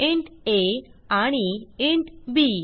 int आ आणि int बी